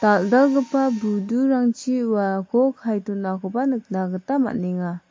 dal·dalgipa budurangchi uako kae donakoba nikna gita man·enga.